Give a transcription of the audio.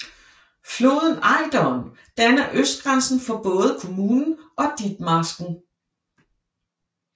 Floden Ejderen danner østgrænsen for både kommunen og Ditmarsken